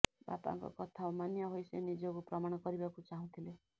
ବାପାଙ୍କ କଥା ଅମାନିଆ ହୋଇ ସେ ନିଜକୁ ପ୍ରମାଣ କରିବାକୁ ଚାହୁଁଥିଲେ